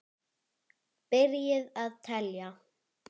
Byrjið að telja.